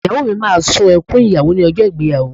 Ìyàwó mi máa sun ẹkùn ìyàwó ní ọjọ́ ìgbéyàwó